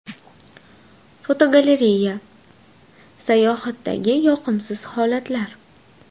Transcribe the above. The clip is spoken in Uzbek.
Fotogalereya: Sayohatdagi yoqimsiz holatlar.